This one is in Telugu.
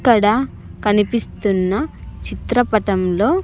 ఇక్కడ కనిపిస్తున్న చిత్రపటంలో.